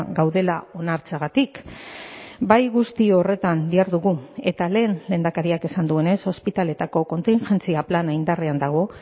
gaudela onartzeagatik bai guzti horretan dihardugu eta lehen lehendakariak esan duenez ospitaletako kontingentzia plana indarrean dago